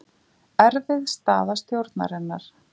Erfið staða stjórnarinnar